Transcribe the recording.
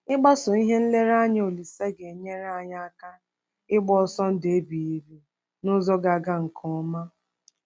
Ịgbaso ihe nlereanya Olise ga-enyere anyị aka ịgba ọsọ ndụ ebighị ebi n’ụzọ ga-aga nke ọma.